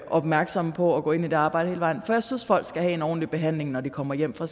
opmærksomme på at gå ind i det arbejde hele vejen for jeg synes folk skal have en ordentlig behandling når de kommer hjem fra